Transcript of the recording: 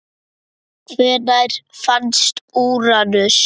Hvenær fannst Úranus?